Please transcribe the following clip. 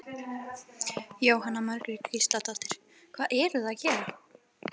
Jóhanna Margrét Gísladóttir: Hvað eruð þið að gera?